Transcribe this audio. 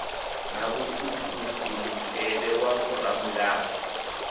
na vhutshutshisi mutevhe wa vhoramilayo